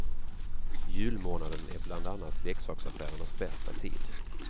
Julmånaden är bland annat leksaksaffärernas bästa tid.